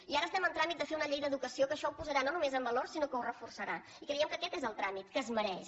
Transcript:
i ara estem en tràmit de fer una llei d’educació que això ho posarà no només en valor sinó que ho reforçarà i creiem que aquest és el tràmit que es mereix